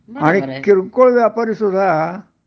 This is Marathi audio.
आणि किरकोळ व्यापारीसुद्धा